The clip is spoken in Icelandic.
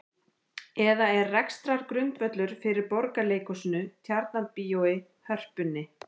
Eða er rekstrargrundvöllur fyrir Borgarleikhúsinu, Tjarnarbíói, Hörpunni?